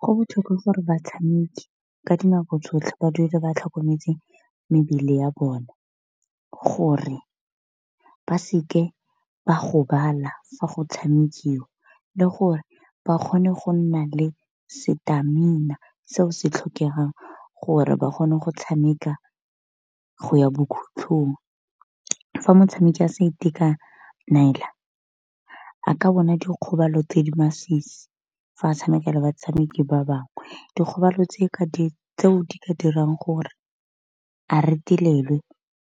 Go botlhokwa gore batshameki ka di nako tsotlhe ba dule ba tlhokometse mebele ya bone, gore ba seke ba gobala fa go tshamekiwa le gore ba kgone go nna le setamina seo se tlhokegang gore ba kgone go tshameka go ya bokhutlhong. Fa motshameki a sa itekanela a ka bona dikgobalo tse di masisi fa tshamekela batshameki ba bangwe, dikgobalo tse ke di ka dirang gore a retelelwe